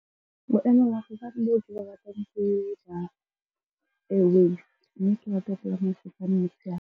Boemafofane e ke bo ratang ke ba airways, mme .